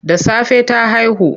Da safe ta haihu.